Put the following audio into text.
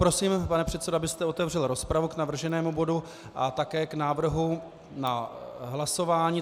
Prosím, pane předsedo, abyste otevřel rozpravu k navrženému bodu a také k návrhu na hlasování.